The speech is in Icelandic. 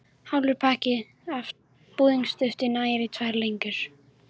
Hálfur pakki af búðingsdufti nægir í tvær lengjur.